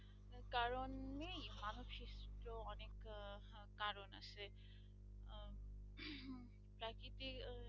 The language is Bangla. এতে ওই